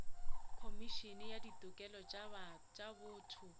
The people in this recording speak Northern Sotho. khomišene ya ditokelo tša botho